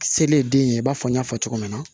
Sele den ye i b'a fɔ n y'a fɔ cogo min na